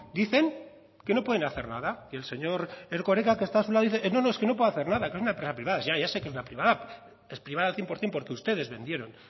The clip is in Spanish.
dicen que no pueden hacer nada que el señor erkoreka que está a su lado dice no no es que no puedo hacer nada que es una empresa privada ya ya sé que es una privada es privada al cien por ciento porque ustedes vendieron